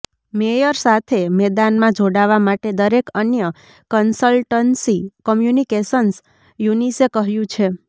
mayor સાથે મેદાનમાં જોડાવા માટે દરેક અન્ય કન્સલ્ટન્સી કમ્યુનિકેશન્સ યુનિસે કહ્યું છે